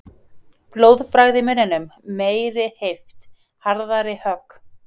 Blóðbragð í munninum. meiri heift. harðari högg.